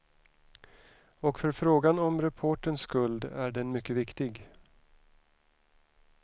Och för frågan om reporterns skuld är den mycket viktig.